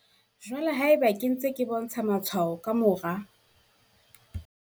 Jwale haeba ke ntse ke bontsha matshwao ka mora